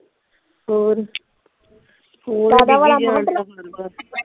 ਹੋਰ ਰਾਧਾ ਵਾਲਾ ਮੈਂ ਕਿਹਾ।